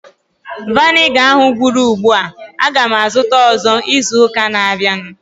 Viniga ahu gwụrụ ugbua. Aga m azụta ọzọ izu ụka na-abịanụ